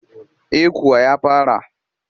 Eh kuwa ya fara